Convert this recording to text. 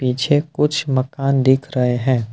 पीछे कुछ मकान दिख रहे हैं।